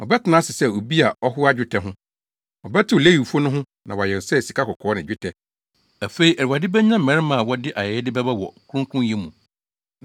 Ɔbɛtena ase sɛ obi a ɔhoa dwetɛ ho. Ɔbɛtew Lewifo no ho na wɔayɛ sɛ sikakɔkɔɔ ne dwetɛ. Afei Awurade benya mmarima a wɔde ayɛyɛde bɛba wɔ kronkronyɛ mu,